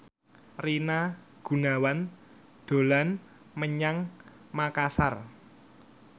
Rina Gunawan dolan menyang Makasar